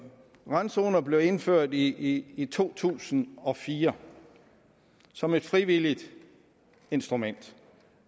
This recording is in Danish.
randzoner blev indført i i to tusind og fire som et frivilligt instrument